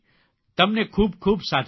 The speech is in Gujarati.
તમને ખૂબ ખૂબ સાધુવાદ